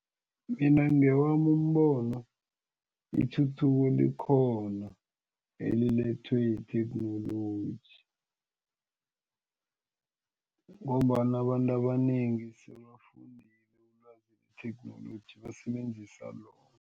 Mina ngewami umbono ithuthuko likhona elilethwe yitheknoloji ngombana abantu abanengi sebafundile ilwazi letheknoloji basebenzisa lona.